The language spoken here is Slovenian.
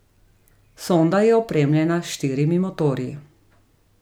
Sonda je opremljena s štirimi motorji.